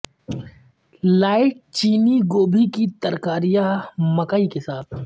light چینی گوبھی کے ترکاریاں مکئی کے ساتھ